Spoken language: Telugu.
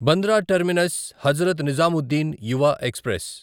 Bandra Terminus Hazrat Nizamuddin Yuva express